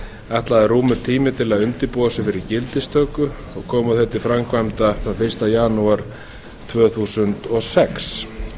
ætlaður rúmur tími til að undirbúa sig fyrir gildistöku og koma þeim til framkvæmda þann fyrsta janúar tvö þúsund og sex